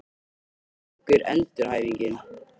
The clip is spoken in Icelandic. Hvernig gengur endurhæfingin?